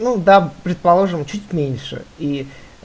ну да предположим чуть меньше и